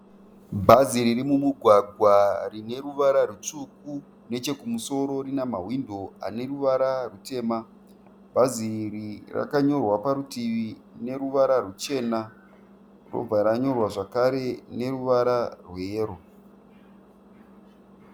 Bhazi riri mumugwagwa rine ruvara rwutsvuku. Nechekumusoro rine mahwindo aneruvara rwutema. Bhasi iri rakanyorwa parutivi neruvara rwuchena, ndokubva ranyorwa zvekare neruvara rweyero.